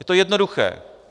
Je to jednoduché.